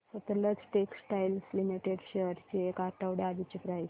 Sutlej Textiles Limited shares ची एक आठवड्या आधीची प्राइस